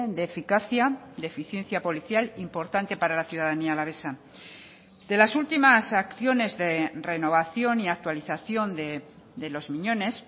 de eficacia de eficiencia policial importante para la ciudadanía alavesa de las últimas acciones de renovación y actualización de los miñones